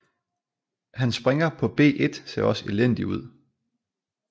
Hans springer på b1 ser også elendig ud